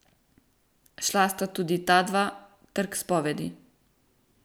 Šla sta tudi ta dva, ter k spovedi.